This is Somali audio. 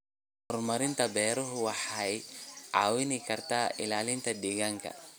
Horumarinta beeraha waara waxay caawin kartaa ilaalinta deegaanka.